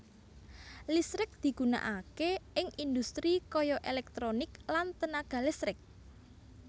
Listrik digunakake ing industri kaya elektronik lan tenaga listrik